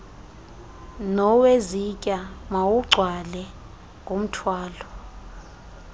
nowezitya mawugcwale ngumthwalo